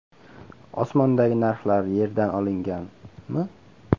Osmondagi narxlar yerdan olingan(mi?).